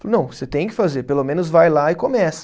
Falou, não, você tem que fazer, pelo menos vai lá e começa.